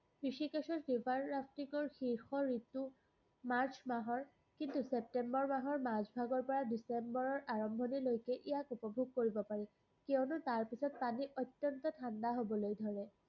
ৰিষিকেশৰ river rafting ৰ শীৰ্ষ ৰিতু মাৰ্চ মাহৰ, কিন্তু, চেপ্তেম্বৰ মাহৰ মাজভাগৰপৰা ডিচেম্বৰৰ আৰম্ভনিলৈকে ইয়াক উপভোগ কৰিব পাৰি, কিয়নো তাৰপিছত পানী অত্যন্ত ঠাণ্ডা হ'বলৈ ধৰে।